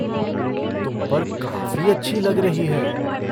तुम पर काफ़ी अच्छी लग रही है।